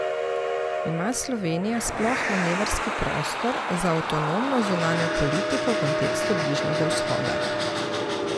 Ima Slovenija sploh manevrski prostor za avtonomno zunanjo politiko v kontekstu Bližnjega vzhoda?